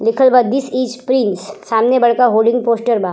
लिखल बा this is prince. सामने बड़का होडींग पोस्टर बा।